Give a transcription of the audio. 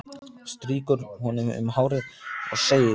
Strýkur honum um hárið og segir: